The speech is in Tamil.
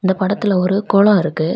இந்த படத்துல ஒரு குளோ இருக்கு.